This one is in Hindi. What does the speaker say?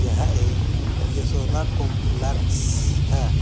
यह एक यशोदा कॉम्प्लेक्स है।